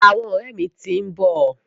Àwọn ọ̀rẹ́ mi ti ń bọ̀.